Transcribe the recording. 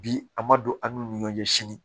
Bi a ma don an n'u ni ɲɔgɔn cɛ sini